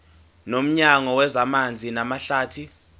nomnyango wezamanzi namahlathi